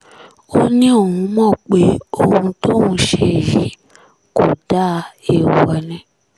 ó ní òun mọ̀ pé ohun tóun ṣe yìí kò dáa èèwọ̀ ni